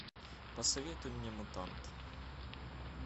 посоветуй мне мутант